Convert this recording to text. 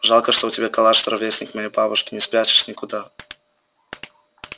жалко что у тебя калаш ровесник моей бабушке не спрячешь никуда